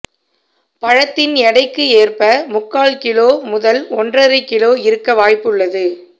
பழத்தின் எடைக்கு ஏற்ப முக்கால் கிலோ முதல் ஓன்றரை கிலோ இருக்க வாய்ப்பு உள்ளது